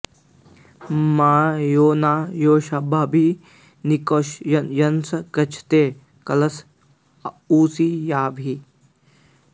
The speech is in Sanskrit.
मर्यो॒ न योषा॑म॒भि नि॑ष्कृ॒तं यन्सं ग॑च्छते क॒लश॑ उ॒स्रिया॑भिः